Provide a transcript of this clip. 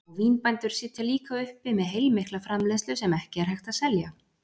Og vínbændur sitja líka uppi með heilmikla framleiðslu sem ekki er hægt að selja.